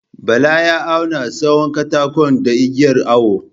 Bala ya auwna tsawon katakon da igiyar awo.